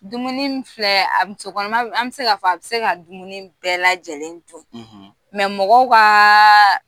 Dumuni mun filɛ musokɔnɔma an bɛ se ka fɔ, a bɛ se ka dumuni bɛɛ lajɛlen dun mɔgɔ kaaaa